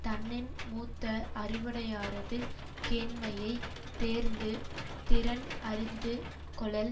தன்னின் மூத்த அறிவுடையாரது கேண்மையை தேர்ந்து திறன் அறிந்து கொளல்